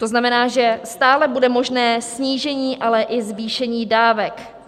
To znamená, že stále bude možné snížení ale i zvýšení dávek.